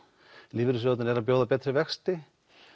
lífeyrissjóðirnir eru að bjóða betri vexti